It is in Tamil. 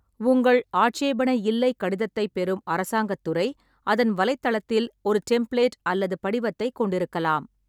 உங்கள் ஆட்சேபனை இல்லை கடிதத்தைப் பெறும் அரசாங்கத் துறை அதன் வலைத்தளத்தில் ஒரு டெம்ப்ளேட் அல்லது படிவத்தைக் கொண்டிருக்கலாம்.